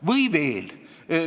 Või veel.